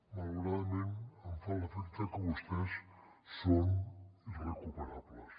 malauradament em fa l’efecte que vostès són irrecuperables